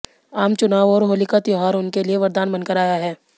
आम चुनाव और होली का त्योहार उनके लिए वरदान बनकर आया है